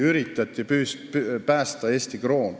Üritati ju päästa Eesti kroon.